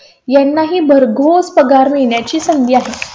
यांनाही भरघोस पगार मिळण्या ची संधी आहे.